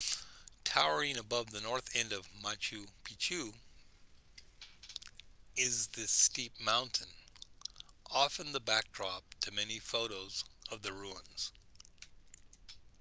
towering above the north end of machu picchu is this steep mountain often the backdrop to many photos of the ruins